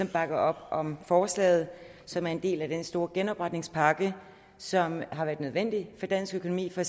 bakker op om forslaget som er en del af den store genopretningspakke som har været nødvendig for dansk økonomi for